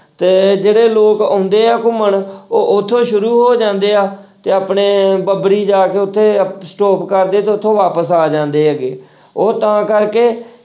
ਤੇ ਜਿਹੜੇ ਲੋਕ ਆਉਂਦੇ ਆ ਘੁੰਮਣ ਉਹ ਉੱਥੋਂ ਹੀ ਸ਼ੁਰੂ ਹੋ ਜਾਂਦੇ ਆ ਤੇ ਆਪਣੇ ਬੱਬਰੀ ਜਾ ਕੇ ਉੱਥੇ stop ਕਰਦੇ ਤੇ ਉੱਥੋਂ ਵਾਪਸ ਆ ਜਾਂਦੇ ਹੈਗੇ ਉਹ ਤਾਂ ਕਰਕੇ